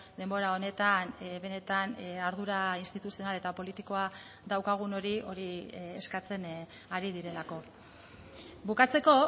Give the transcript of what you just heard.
denbora honetan benetan ardura instituzional eta politikoa daukagun hori hori eskatzen ari direlako bukatzeko